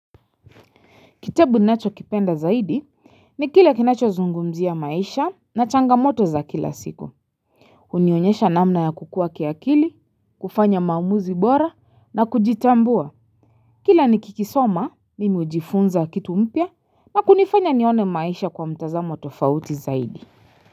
Kitabu nachokipenda zaidi ni kila kinachozungumzia maisha na changamoto za kila siku. Unionyesha namna ya kukua kiakili, kufanya maamuzi bora na kujitambua. Kila nikikisoma, mimi hujifunza kitu mpya na kunifanya nione maisha kwa mtazamo tofauti zaidi.